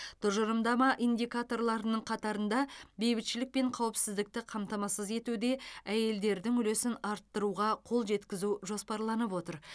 тұжырымдама индикаторларының қатарында бейбітшілік пен қауіпсіздікті қамтамасыз етуде әйелдердің үлесін арттыруға қол жеткізу жоспарланып отыр